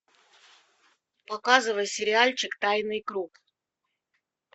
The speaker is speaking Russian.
показывай сериальчик тайный круг